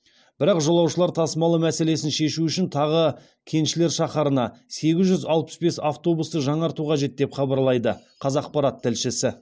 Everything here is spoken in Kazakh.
бірақ жолаушылар тасымалы мәселесін шешу үшін тағы кеншілер шаһарына сегіз жүз алпыс бес автобусты жаңарту қажет деп хабарлайды қазақпарат тілшісі